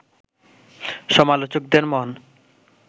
সমালোচকদের মন